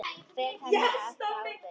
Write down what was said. Fel henni alla ábyrgð.